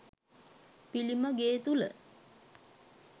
පිළිම ගේ තුළ